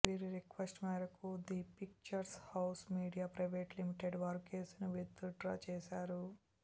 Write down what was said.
వీరి రిక్వెస్ట్ మేరకు the pictures house media private limited వారు కేసుని విత్ డ్రా చేసారు